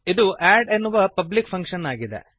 ಇದು ಅಡ್ ಎನ್ನುವ ಪಬ್ಲಿಕ್ ಫಂಕ್ಶನ್ ಆಗಿದೆ